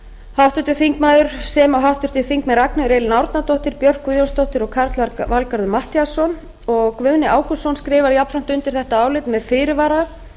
kristján þór júlíusson herdís þórðardóttir ragnheiður e árnadóttir björk guðjónsdóttir og karl fimmti matthíasson guðni ágústsson skrifar jafnframt undir þetta álit með fyrirvara